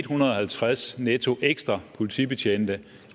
hundrede og halvtreds netto ekstra politibetjente